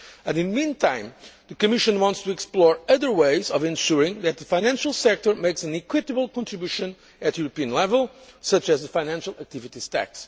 In the meantime, the Commission wants to explore other ways of ensuring that the financial sector makes an equitable contribution at European level, such as the financial activities